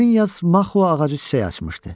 Həmin yaz Maxua ağacı çiçək açmışdı.